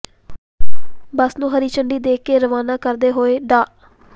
ਬੱਸ ਨੂੰ ਹਰੀ ਝੰਡੀ ਦੇ ਕੇ ਰਵਾਨਾ ਕਰਦੇ ਹੋਏ ਡਾ